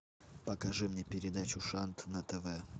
покажи мне передачу шант на тв